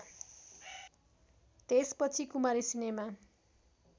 त्यसपछि कुमारी सिनेमा